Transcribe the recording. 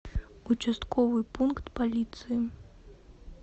участковый пункт полиции